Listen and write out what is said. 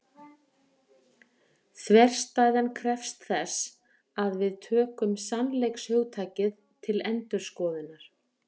Þverstæðan krefst þess að við tökum sannleikshugtakið til endurskoðunar.